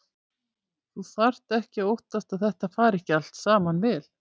Þú þarft ekki að óttast að þetta fari ekki allt saman vel.